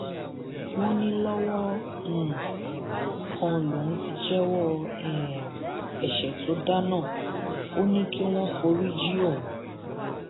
wọn ní lọwọ um kan lòun ti jẹwọ um ẹṣẹ tó dá náà ò ní kí wọn forí jin òun